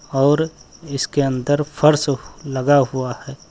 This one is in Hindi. और इसके अंदर फर्श लगा हुआ है।